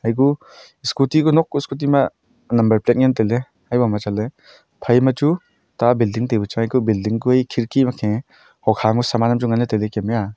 eku scooty kuh nok scooty ma number plate ngan tailey ayaboma chatley phaima chu ta building taipu chang a eku building ku e khirki makhe hokha ma saman hamchu nganley tailey Kem e a.